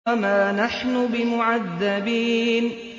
وَمَا نَحْنُ بِمُعَذَّبِينَ